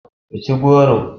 Ku ci goro.